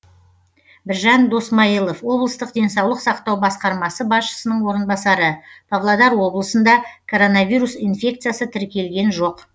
біржан досмайылов облыстық денсаулық сақтау басқармасы басшысының орынбасары павлодар облысында коронавирус инфекциясы тіркелген жоқ